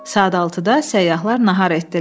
Saat 6-da səyyahlar nahar etdilər.